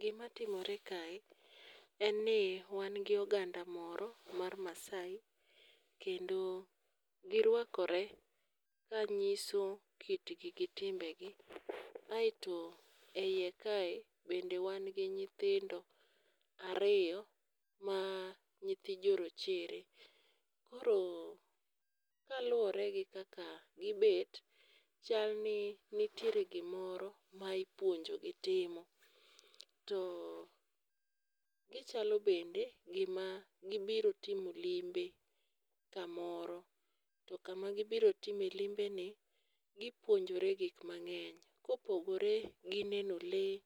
Gima timore kae en ni wan gi oganda moro mar Maasai kendo girwakore kanyiso kitgi gi timbegi. Aeto eiye kae bende wan gi nyithindo ariyo ma nyithi jorochere koro kaluwore gi kaka gibet, chal ni nitiere gimoro ma ipuonjogi timo. To gichalo bende gima gibiro timo limbe kamoro to kama gibiro time limbeni gipuonjore gik mang'eny. Kopogore gi neno lee,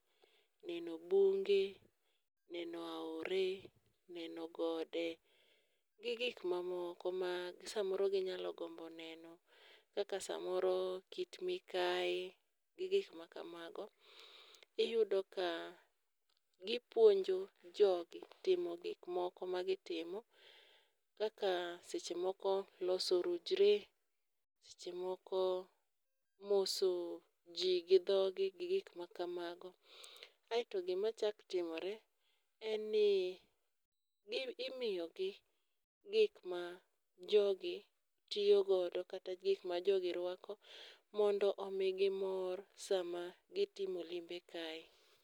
neno lumbe, neno gode g gik mamoko ma samoro ginyalo gombo neno kaka samoro Kit Mikae, gi gik makamago. Iyudo ka gipuonjo jogi timo gik moko magitimo. Kaka sechemoko loso orujre, kaka seche moko moso ji gi dhogi gi gik makamago. Kaeto gima chako timore, en ni imiyogi gik ma jogi tiyogodo kata gik ma jogi ruako mondo omii mor sama gitime limbe kae.